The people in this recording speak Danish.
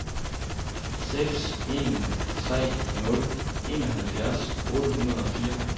seks en tre nul enoghalvfjerds otte hundrede og fire